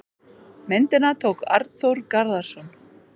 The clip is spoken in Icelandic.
Myndina tók Arnþór Garðarsson.